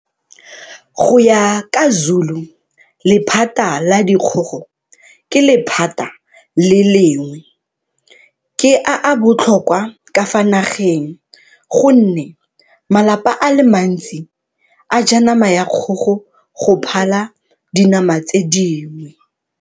Go ya ka Zulu, lephata la dikgogo ke lephata le lengwe ke a a botlhokwa ka fa nageng, gonne malapa a le mantsi a ja nama ya kgogo go phala dinama tse dingwe.